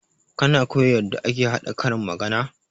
Kana koya yarda ake haɗa karin magana?